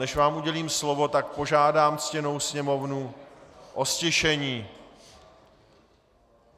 Než vám udělím slovo, tak požádám ctěnou sněmovnu o ztišení!